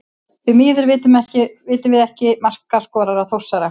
Því miður vitum við ekki markaskorara Þórsara.